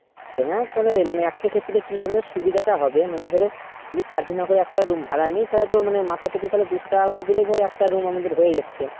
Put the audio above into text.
তা হ্যা তাইলে একটা ক্ষেত্রে কি হবে সুবিধটা হবে মানে ধরো যদি চার জন না করে একটা room ভাড়া নেই তাইলে তো মানে মাথা পিছু দুশো টাকা করে দিলে একটা room আমাদের হয়ে যাচ্ছে